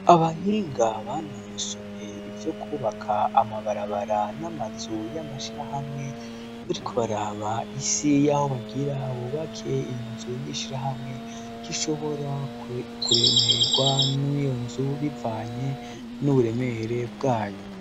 Abahinga banonosoye ivyo kubaka amabarabara n'amazu y'amashirahamwe bari kubaraba isi y'aho bagira bubake iyo nzu y'ishirahamwe ko ishobora kuremerwa n'iyo nzu bivanye n'uburemere bwayo.